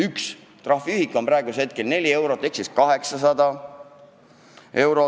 Üks trahviühik on praegu 4 eurot, seega tuleb maksta kuni 800 eurot.